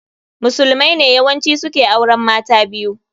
Musulmai ne yawanci su ke auren mata biyu